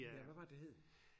Ja hvad var det hed?